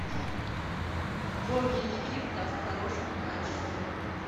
боги египта в хорошем качестве